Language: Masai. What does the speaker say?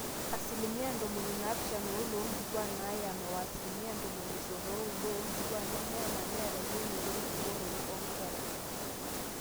asilimia ntomoni naapishana oile oonkituaak naayama o asilimia ntomoni isiet ooudo aaonkituaak nemeyama neeta eyieunoto enkibooroto oonkera